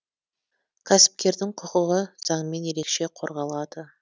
кәсіпкердің құқығы заңмен ерекше қорғалады